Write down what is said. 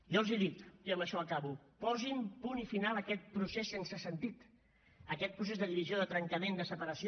jo els dic i amb això acabo posin punt final a aquest procés sense sentit aquest procés de divisió de trencament de separació